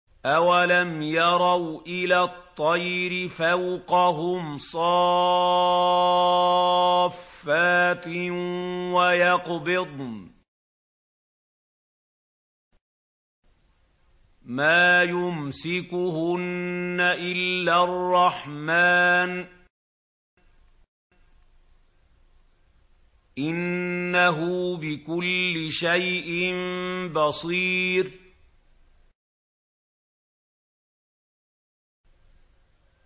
أَوَلَمْ يَرَوْا إِلَى الطَّيْرِ فَوْقَهُمْ صَافَّاتٍ وَيَقْبِضْنَ ۚ مَا يُمْسِكُهُنَّ إِلَّا الرَّحْمَٰنُ ۚ إِنَّهُ بِكُلِّ شَيْءٍ بَصِيرٌ